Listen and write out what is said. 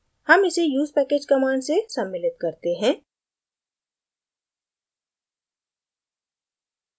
हम इसे usepackag command से सम्मिलित करते हैं